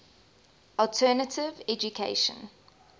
alternative education